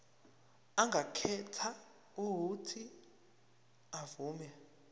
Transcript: angakhetha uuthi avume